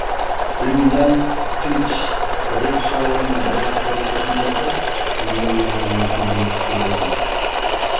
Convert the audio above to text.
глюмдальклич бірер шаруамен бір жаққа кететін болса мені өз бөлмесіне бекітіп кететін